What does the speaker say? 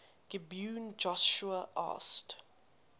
gibeon joshua asked